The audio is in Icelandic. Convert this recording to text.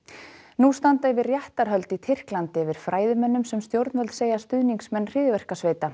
nú standa yfir réttarhöld í Tyrklandi yfir fræðimönnum sem stjórnvöld segja stuðningsmenn